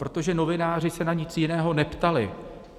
Protože novináři se na nic jiného neptali.